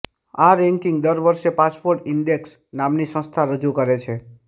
આ રેન્કિંગ દર વર્ષે પાસપોર્ટ ઇન્ડેક્સ નામની સંસ્થા રજૂ કરે છે